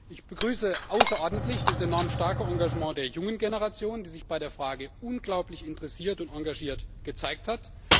Ich begrüße außerordentlich das enorm starke Engagement der jungen Generation, die sich bei der Frage unglaublich interessiert und engagiert gezeigt hat.